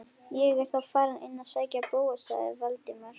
Ég er þá farinn inn að sækja Bóas- sagði Valdimar.